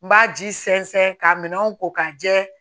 N b'a ji sɛnsɛn ka minɛnw ko ka jɛ